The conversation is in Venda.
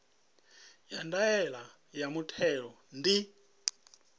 ya ndaela ya muthelo ndi